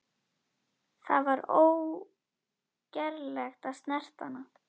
Það var ógerlegt að snerta hana.